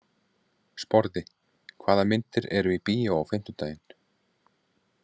Sporði, hvaða myndir eru í bíó á fimmtudaginn?